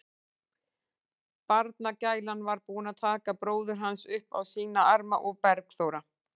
Barnagælan var búin að taka bróður hans upp á sína arma og Bergþóra